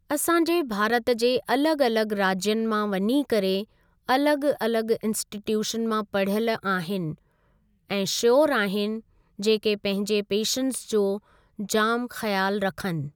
असांजे भारत जे अलगि॒ अलगि॒ राज्यनि मां वञी करे अलगि॒ अलगि॒ इंस्टिट्यूशन मां पढ़यलु आहिनि ऐं श्योर आहिनि जेके पंहिंजे पेशेंटस जो जाम ख्यालु रखनि।